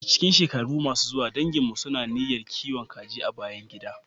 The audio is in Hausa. A cikin shekara mai zuwa, danginmu suna niyyar kiwon kaji a bayan gida.